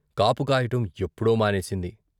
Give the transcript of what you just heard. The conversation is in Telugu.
కాపు కాయటం ఎప్పుడో మానేసింది.